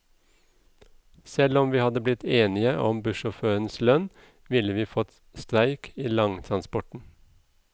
Selv om vi hadde blitt enige om bussjåførenes lønn, ville vi fått streik i langtransporten.